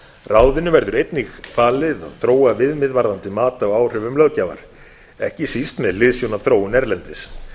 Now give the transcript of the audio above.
ráðinu verður einnig falið að þróa viðmið varðandi mat á áhrifum löggjafar ekki síst með hliðsjón af þróun erlendis